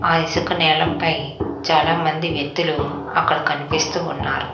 ఆ ఇసుక నేలపై చాలా మంది వ్యక్తులు అక్కడ కనిపిస్తూ ఉన్నారు.